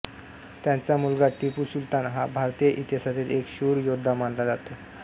त्याचा मुलगा टिपू सुलतान हा भारतीय इतिहासातील एक शूर योद्धा मानला जातो